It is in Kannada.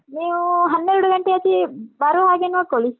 ನೀವು ಹನ್ನೆರಡು ಗಂಟೆ ಆಚೆ ಬರುವ ಹಾಗೆ ನೋಡ್ಕೊಳ್ಳಿ.